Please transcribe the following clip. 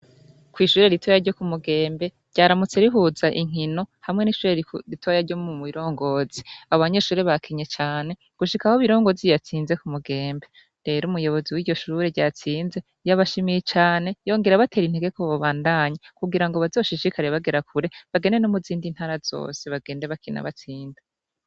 Kw'ishure ritoya ryo mu Mugembe ryaramutse rihuza inkino hamwe n'ishure ritoya ryo mu Birongozi. Abanyeshure bakinye cane gushika aho Birongozi yatsinze ku Mugembe. Rero umuyobozi w'iryo shure ryatsinze yabashimiye cane arabatera intege babandanye kugirango bazoshishikare bagera kure bagende no mu zindi ntara zose bagende bakina batsinda.